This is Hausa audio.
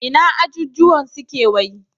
Ina ajujjuwan suke wai?